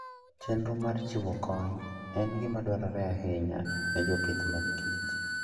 Chenro mar chiwo kony en gima dwarore ahinya ne jopith mag kich.